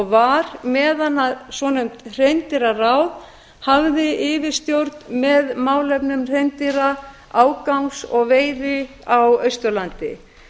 var meðan svonefnt hreindýraráð hafði yfirstjórn með málefnum hreindýra ágangs og veiði á austurlandi